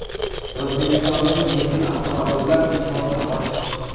O‘zbekistonda yengil avtomobillar importi oshdi.